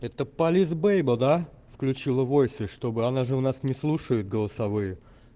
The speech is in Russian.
это полис бэйба да включила войсы чтобы она же у нас не слушает голосовые